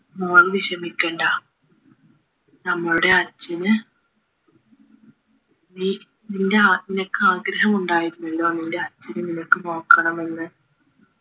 മോൾ വിഷമിക്കണ്ട നമ്മളുടെ അച്ഛന് നീ നിന്റെ ആത്മിയക്ക് ആഗ്രഹമുണ്ടായിരുന്നല്ലോ നിന്റെ അച്ഛനെ നിനക്ക് നോക്കണമെന്ന്